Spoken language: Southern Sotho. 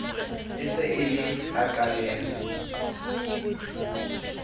e sa le e qaleha